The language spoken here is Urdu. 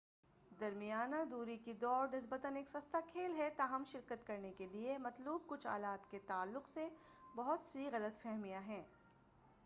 درمیانہ دوری کی دوڑ نسبتا ایک سستا کھیل ہے تاہم شرکت کرنے کے لئے مطلوب کچھ آلات کے تعلق سے بہت سی غلط فہمیاں ہیں